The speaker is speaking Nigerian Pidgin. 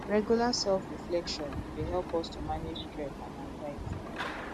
regular selfreflection dey help us to manage stress and anxiety